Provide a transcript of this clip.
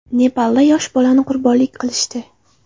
Nepalda yosh bolani qurbonlik qilishdi.